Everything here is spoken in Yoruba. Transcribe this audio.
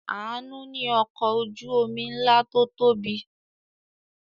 Àánú ní ọkọ̀ ojú-omi ńlá tó tóbi.